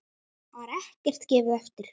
Þar var ekkert gefið eftir.